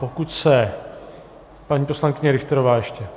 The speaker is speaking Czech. Pokud se... paní poslankyně Richterová ještě.